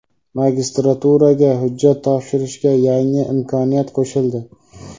Magistraturaga hujjat topshirshda yangi imkoniyat qo‘shildi.